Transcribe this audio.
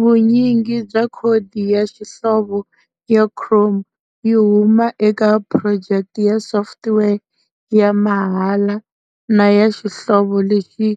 Vunyingi bya khodi ya xihlovo ya Chrome yi huma eka phurojeke ya software ya mahala na ya xihlovo lexi